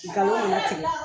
Nkalon ne bɛ tigɛ